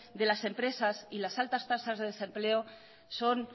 de las empresas y las altas tasas de desempleo son